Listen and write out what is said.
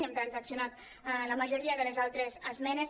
hem transaccionat la majoria de les altres esmenes